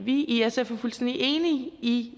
i sf er fuldstændig enig i